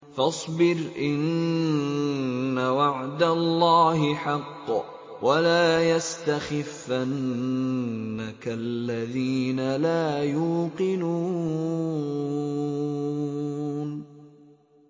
فَاصْبِرْ إِنَّ وَعْدَ اللَّهِ حَقٌّ ۖ وَلَا يَسْتَخِفَّنَّكَ الَّذِينَ لَا يُوقِنُونَ